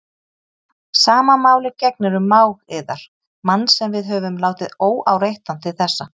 Sama máli gegnir um mág yðar, mann sem við höfum látið óáreittan til þessa.